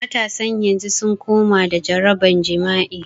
Matasan yanzu sun kamo da jaraban jima'i